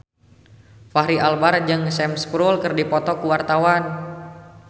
Fachri Albar jeung Sam Spruell keur dipoto ku wartawan